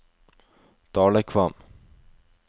Dalekvam